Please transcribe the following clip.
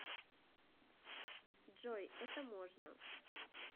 джой это можно